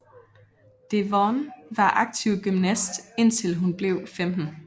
Devon var aktiv gymnast indtil hun blev 15